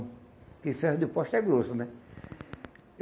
Porque ferro de poste é grosso, né?